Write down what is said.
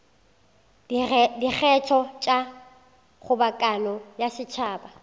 dikgetho tša kgobokano ya setšhaba